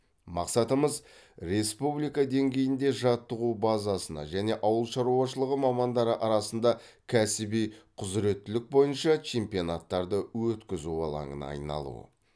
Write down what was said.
мақсатымыз республика деңгейінде жаттығу базасына және ауыл шаруашылығы мамандары арасында кәсіби құзыреттілік бойынша чемпионаттарды өткізу алаңына айналу